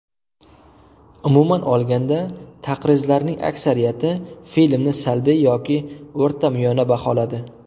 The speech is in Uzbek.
Umuman olganda, taqrizlarning aksariyati filmni salbiy yoki o‘rtamiyona baholadi.